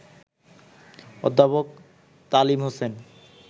অধ্যাপক তালিম হোসেন